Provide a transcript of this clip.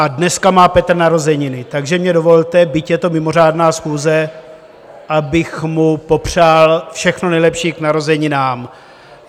A dneska má Petr narozeniny, takže mi dovolte, byť je to mimořádná schůze, abych mu popřál všechno nejlepší k narozeninám.